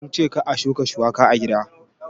Kince kar a shuka shuwaka a gida?